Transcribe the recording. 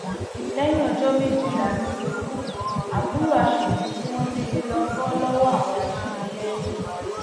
lẹyìn ọjọ méjìlá nìgbèkùn àbúrò aṣòfin tí wọn jí gbé bọ lọwọ àwọn ajínigbé